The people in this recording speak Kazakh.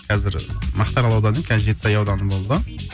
қазір мақтаарал ауданы қазір жетісай ауданы болды